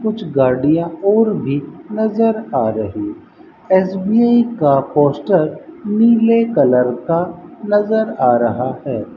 कुछ गाड़ियां और भी नजर आ रही एस_बी_आई का पोस्टर नीले कलर का नजर आ रहा है।